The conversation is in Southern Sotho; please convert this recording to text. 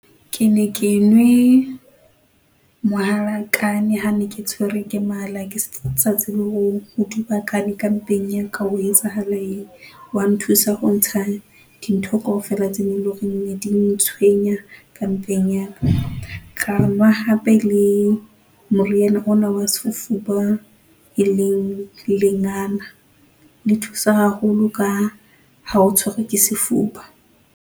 Ke ne ke nwe, mohalakane ha ne ke tshwerwe ke mala ke sa tsebe ho dubakane ka mpeng ka ho etsahala eng, wa nthusa ho ntsha, dintho kaofela tse loreng di neng di ntshwenya ka mpeng yaka. Ka nwa hape le, moriana ona wa sefuba, e leng lengana le thusa haholo ka ha o tshwerwe ke sefuba.